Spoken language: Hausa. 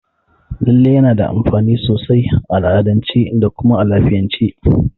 Lalle yana da amfani sosai a al'adance da kuma a lafiyance.